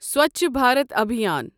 Swachh Bharat Abhiyan